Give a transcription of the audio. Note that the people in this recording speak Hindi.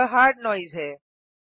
यह हार्ड नोइसे है